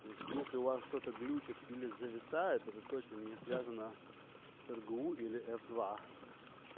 то есть ли у вас что-то глючит или зависает это точно не связано с ргу или ф два